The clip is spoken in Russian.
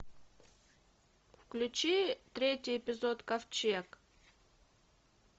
включи третий эпизод ковчег